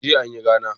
Jiya anyi rana